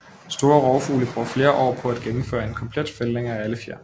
Store rovfugle bruger flere år på at gennemføre en komplet fældning af alle fjer